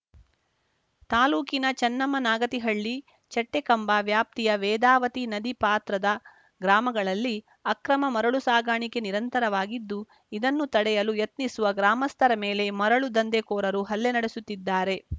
ತಾಲೂಕಿನ ಚನ್ನಮ್ಮನಾಗತಿಹಳ್ಳಿ ಚಟ್ಟೆಕಂಬ ವ್ಯಾಪ್ತಿಯ ವೇದಾವತಿ ನದಿ ಪಾತ್ರದ ಗ್ರಾಮಗಳಲ್ಲಿ ಅಕ್ರಮ ಮರಳು ಸಾಗಾಣಿಕೆ ನಿರಂತರವಾಗಿದ್ದು ಇದನ್ನು ತಡೆಯಲು ಯತ್ನಿಸುವ ಗ್ರಾಮಸ್ಥರ ಮೇಲೆ ಮರಳು ದಂಧೆಕೋರರು ಹಲ್ಲೆ ನಡೆಸುತ್ತಿದ್ದಾರೆ